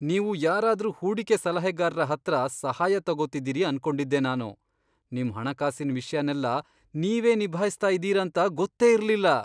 ನೀವು ಯಾರಾದ್ರೂ ಹೂಡಿಕೆ ಸಲಹೆಗಾರ್ರ ಹತ್ರ ಸಹಾಯ ತಗೊತಿದೀರಿ ಅನ್ಕೊಂಡಿದ್ದೆ ನಾನು, ನಿಮ್ ಹಣಕಾಸಿನ್ ವಿಷ್ಯನೆಲ್ಲ ನೀವೇ ನಿಭಾಯ್ಸ್ತಾ ಇದೀರಾಂತ ಗೊತ್ತೇ ಇರ್ಲಿಲ್ಲ.